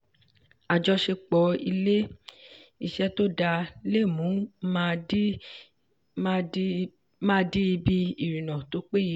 àjọṣepọ̀ ilé-iṣẹ́ tó dáa le mu mma di ibi ìrìnnà tó péye.